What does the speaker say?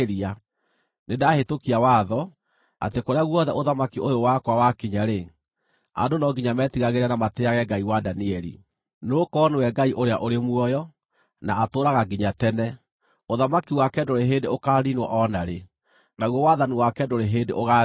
“Nĩndahĩtũkia watho, atĩ kũrĩa guothe ũthamaki ũyũ wakwa wakinya-rĩ, andũ no nginya metigagĩre na matĩĩage Ngai wa Danieli. “Nĩgũkorwo nĩwe Ngai ũrĩa ũrĩ muoyo, na atũũraga nginya tene; ũthamaki wake ndũrĩ hĩndĩ ũkaaniinwo o na rĩ, naguo wathani wake ndũrĩ hĩndĩ ũgaathira.